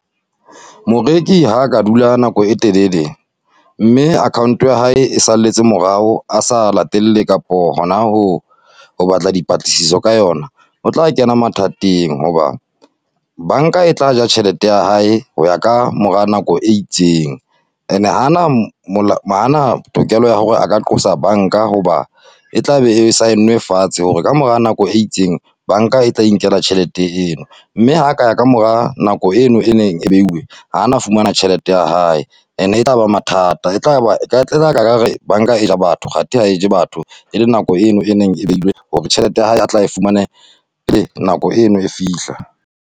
Moreki ha ka dula nako e telele, mme account-o ya hae e salletse morao a sa latele kapo hona ho, ho batla dipatlisiso ka yona. O tla kena mathateng hoba, banka e tla ja tjhelete ya hae, ho ya ka mora nako e itseng. And-e ha ana , ha ana tokelo ya hore a ka qosa banka hoba e tlabe e sign-nwe fatshe hore ka mora nako e itseng, banka e tla inkela tjhelete eno. Mme ha a ka ya ka mora nako eno e neng e behilwe, ha ana fumana tjhelete ya hae. And-e e tlaba mathata, banka e ja batho. Kganthe ha e je batho, e le nako eno e neng e behilwe hore tjhelete ya hae a tla e fumana, nako eno e fihla.